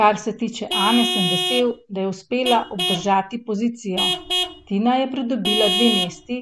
Kar se tiče Ane sem vesel, da je uspela obdržati pozicijo, Tina je pridobila dve mesti,